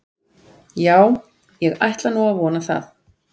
Já, ég ætla nú að vona það.